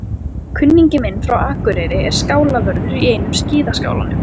Kunningi minn frá Akureyri er skálavörður í einum skíðaskálanum.